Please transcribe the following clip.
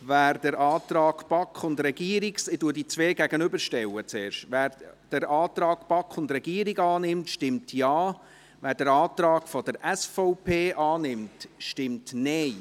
Wer den Antrag BaK und Regierung – ich werde die beiden Anträge zuerst einander gegenüberstellen – annimmt, stimmt Ja, wer den Antrag SVP annimmt, stimmt Nein.